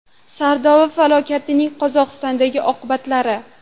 Sardoba falokatining Qozog‘istondagi oqibatlari.